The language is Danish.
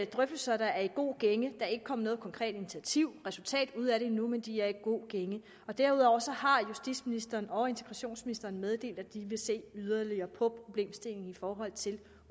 drøftelser der er i god gænge der er ikke kommet noget konkret initiativ resultat ud af det endnu men de er i god gænge og derudover har justitsministeren og integrationsministeren meddelt at de vil se yderligere på problemstillingen i forhold til